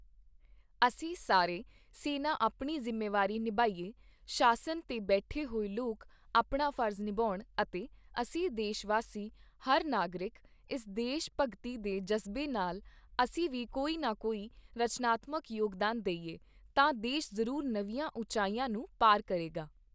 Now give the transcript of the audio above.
ਅਸੀਂ ਸਾਰੇ ਸੈਨਾ ਆਪਣੀ ਜ਼ਿੰਮੇਵਾਰੀ ਨਿਭਾਈਏ, ਸ਼ਾਸਨ ਤੇ ਬੈਠੇ ਹੋਏ ਲੋਕ ਆਪਣਾ ਫਰਜ਼ ਨਿਭਾਉਣ ਅਤੇ ਅਸੀਂ ਦੇਸ਼ਵਾਸੀ, ਹਰ ਨਾਗਰਿਕ, ਇਸ ਦੇਸ਼ ਭਗਤੀ ਦੇ ਜਜ਼ਬੇ ਨਾਲ, ਅਸੀਂ ਵੀ ਕੋਈ ਨਾ ਕੋਈ ਰਚਨਾਤਮਕ ਯੋਗਦਾਨ ਦੇਈਏ, ਤਾਂ ਦੇਸ਼ ਜ਼ਰੂਰ ਨਵੀਆਂ ਉਚਾਈਆਂ ਨੂੰ ਪਾਰ ਕਰੇਗਾ।